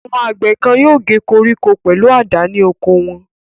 Àwọn àgbẹ̀ kan yóò gé koríko pẹ̀lú àdá ní oko wọ.